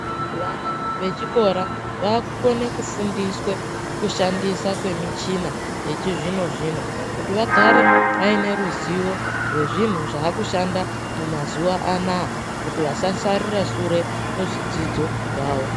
Vana vechikora vavekukona kufundiswe kushandisa kwemichina echizvino zvino kuti vagare vaine ruziyo rezvinhu zvakushanda mumazuwa Anaya kuti vasasarire sure muzvidzidzo zvawo.